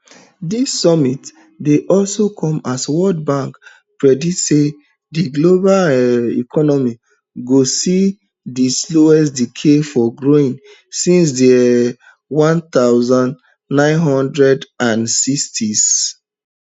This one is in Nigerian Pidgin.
dis summit dey also come as world bank predict say di global um economy go see di slowest decade for growth since di um one thousand, nine hundred and sixtys